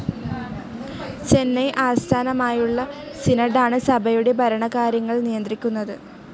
ചെന്നെ ആസ്ഥാനമായുള്ള സിനോഡ്‌ ആണ് സഭയുടെ ഭരണകാര്യങ്ങൾ നിയന്ത്രിക്കുന്നത്.